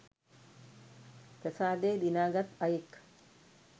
ප්‍රසාදය දිනාගත් අයෙක්.